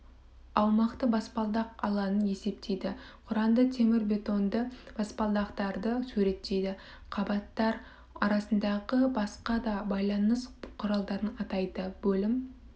аумақты баспалдақ алаңын есептейді құранды темірбетонды баспалдақтарды суреттейді қабаттар арасындағы басқа да байланыс құралдарын атайды бөлім